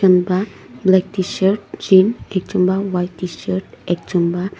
black tshirt jean ekjun la white tshirt ekjon ba--